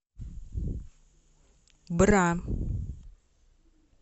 бра